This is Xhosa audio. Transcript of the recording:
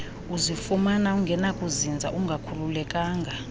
uzifumana ungenakuzinza ungakhululekanga